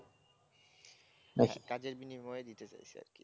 হ্যাঁ, কাজের বিনিময়ে দিতে চাইছে আরকি